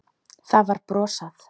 Það var brosað.